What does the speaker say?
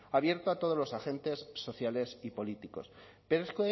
abierto a todos los agentes sociales y políticos pero es